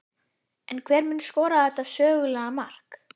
En hver mun skora þetta sögulega mark?